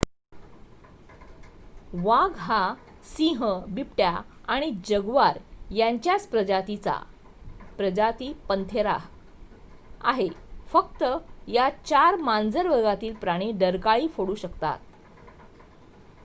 वाघ हा सिंह बिबट्या आणि जग्वार यांच्याच प्रजातीचा प्रजाती पंथेरा आहे. फक्त या 4 मांजर वर्गातील प्राणी डरकाळी फोडू शकतात